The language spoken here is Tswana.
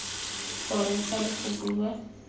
go reetsa le go bua